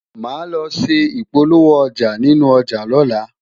má ló ṣé ipolowo ọja nínú ọja lola